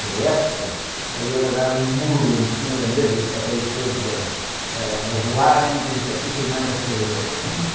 da época, e ele a dar um murro em cima da mesa e os papéis todos a, ãh, a voarem e disse, aqui quem manda sou eu.